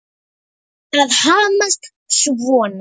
Að hamast svona.